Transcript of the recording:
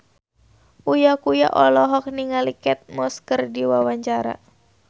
Uya Kuya olohok ningali Kate Moss keur diwawancara